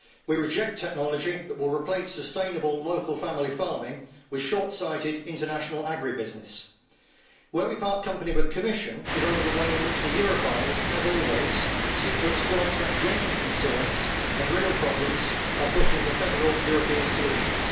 We reject technology that will replace sustainable local family farming with short sighted international agri business. Where we part company with the Commission is over the way in which the Europhiles, as always, are seeking to exploit such genuine concerns and real problems by pushing for federal European solutions.